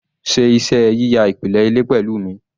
Ṣe iṣẹ́ yíya ìpìlẹ̀ ilé pẹ̀lú mi